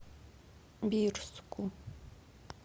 бирску